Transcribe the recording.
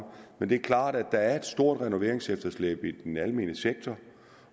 men det er klart at der er et stort renoveringsefterslæb i den almene sektor